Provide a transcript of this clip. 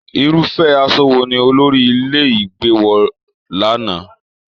Irufẹ aṣọ wò ní olórí ilé ìgbé wọ l'ana?